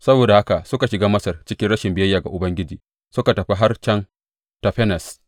Saboda haka suka shiga Masar cikin rashin biyayya ga Ubangiji suka tafi har can Tafanes.